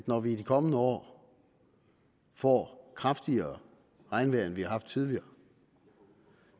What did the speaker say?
når vi i de kommende år får kraftigere regnvejr end vi har haft tidligere